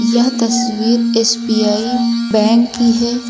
यह तस्वीर SBI bank की है।